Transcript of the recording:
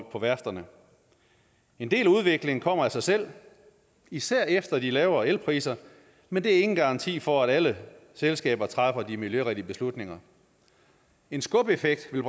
på værfterne en del af udviklingen kommer af sig selv især efter de lavere elpriser men det er ingen garanti for at alle selskaber træffer de miljørigtige beslutninger en skubeffekt vil